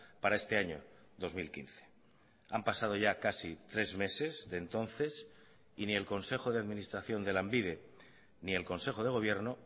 para este año dos mil quince han pasado ya casi tres meses de entonces y ni el consejo de administración de lanbide ni el consejo de gobierno